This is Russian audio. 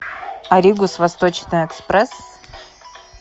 ариг ус восточный экспресс